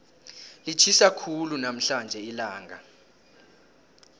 litjhisa khulu namhlanje ilanga